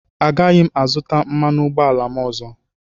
Agaghị m azụta mmanụ ụgbọala m ọzọ.